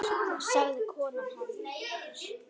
sagði kona hans.